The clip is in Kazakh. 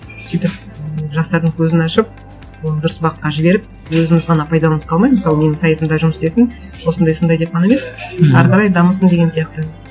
сөйтіп жастардың көзін ашып оны дұрыс бағытқа жіберіп өзіміз ғана пайдаланып қалмай мысалы менің сайтымда жұмыс істесін осындай осындай деп қана емес әрі қарай дамысын деген сияқты